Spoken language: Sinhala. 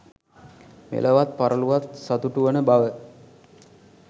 මෙලොවත් පරලොවත් සතුටු වන බව